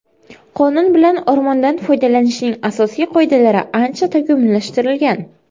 Qonun bilan o‘rmondan foydalanishning asosiy qoidalari ancha takomillashtirilgan.